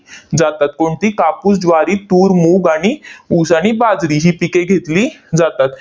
जातात. कोणती? कापूस, ज्वारी, तूर, मूग आणि ऊस आणि बाजरी ही पिके घेतली जातात.